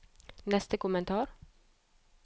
neste kommentar